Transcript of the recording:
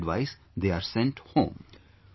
After this advice, they are sent home